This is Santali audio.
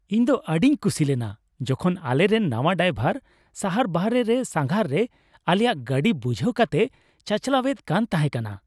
ᱤᱧ ᱫᱚ ᱟᱹᱰᱤᱧ ᱠᱩᱥᱤᱞᱮᱱᱟ ᱡᱚᱠᱷᱚᱱ ᱟᱞᱮᱨᱮᱱ ᱱᱟᱶᱟ ᱰᱨᱟᱭᱵᱷᱟᱨ ᱥᱟᱦᱟᱨ ᱵᱟᱨᱦᱮ ᱨᱮ ᱥᱟᱸᱜᱷᱟᱨ ᱨᱮ ᱟᱞᱮᱭᱟᱜ ᱜᱟᱹᱰᱤ ᱵᱩᱡᱷᱦᱟᱹᱣ ᱠᱟᱛᱮᱭ ᱪᱟᱪᱟᱞᱟᱣᱮᱫ ᱠᱟᱱ ᱛᱟᱦᱮᱠᱟᱱᱟ ᱾